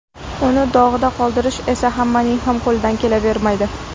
Uni dog‘da qoldirish esa hammaning ham qo‘lidan kelavermaydi.